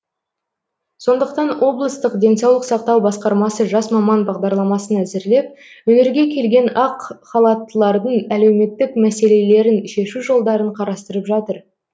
сондықтан облыстық денсаулық сақтау басқармасы жас маман бағдарламасын әзірлеп өңірге келген ақ халаттылардың әлеуметтік мәселелерін шешу жолдарын қарастырып жатыр